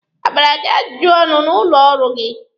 A gbara gị ajụjụ ọnụ n'ụlọ ọrụ gị?